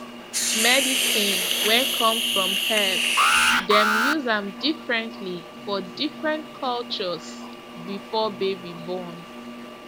medicine wey come from herbs dem use am differently for different cultures before baby born